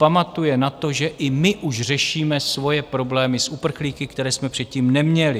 Pamatuje na to, že i my už řešíme svoje problémy s uprchlíky, které jsme předtím neměli.